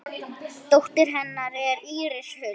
Dóttir hennar er Íris Huld.